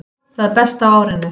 Það besta á árinu